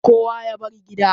kowa ya bar gida